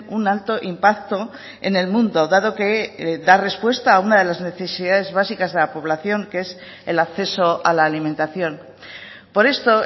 un alto impacto en el mundo dado que da respuesta a una de las necesidades básicas de la población que es el acceso a la alimentación por esto